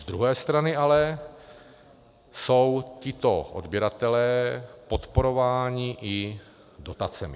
Z druhé strany ale jsou tito odběratelé podporováni i dotacemi.